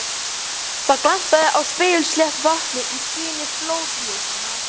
Það glampaði á spegilslétt vatnið í skini flóðljósanna.